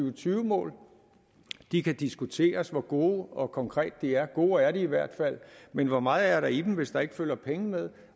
og tyve mål det kan diskuteres hvor gode og konkrete de er gode er de i hvert fald men hvor meget er der i dem hvis der ikke følger penge med